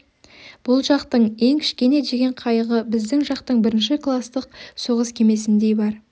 бүл жақтың ең кішкене деген қайығы біздің жақтың бірінші кластық соғыс кемесіндей бар